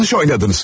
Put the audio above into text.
Yanlış oynadınız.